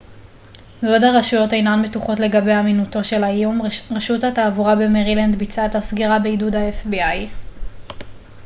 בעוד הרשויות אינן בטוחות לגבי אמינותו של האיום רשות התעבורה במרילנד ביצעה את הסגירה בעידוד ה-fbi